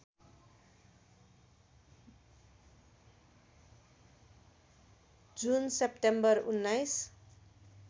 जुन सेप्टेम्बर १९